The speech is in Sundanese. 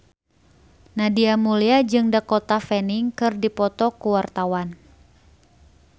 Nadia Mulya jeung Dakota Fanning keur dipoto ku wartawan